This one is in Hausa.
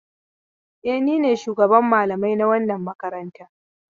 E, ni ne shugaban malamai na wannan makaranta.